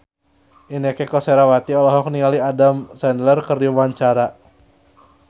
Inneke Koesherawati olohok ningali Adam Sandler keur diwawancara